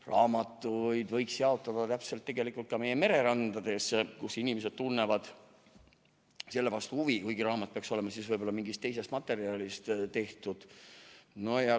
Raamatuid võiks jaotada tegelikult ka meie mererandades, kus inimesed tunnevad selle vastu huvi, kuigi raamat peaks olema siis võib-olla mingist teisest materjalist tehtud.